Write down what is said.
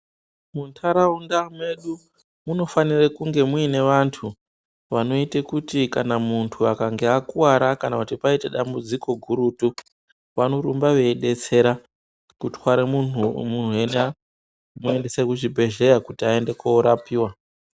Muntaraunda medu munofanira kunge muine vantu vanoite kuti kana muntu akange akuwara kana kuti paite dambudziko gurutu vanorumba veidetsereka kutware munhu ena kumuendesa kuchibhehleya kuti aende korapiwa.